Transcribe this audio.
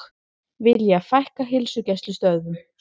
Vilja fækka heilsugæslustöðvum